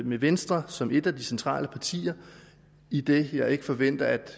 med venstre som et af de centrale partier idet jeg ikke forventer at